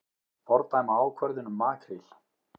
Fordæma ákvörðun um makríl